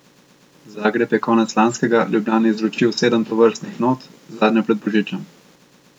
Zagreb je konec lanskega Ljubljani izročil sedem tovrstnih not, zadnjo pred božičem.